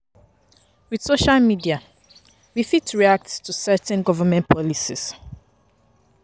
With social media we fit react to certain government policies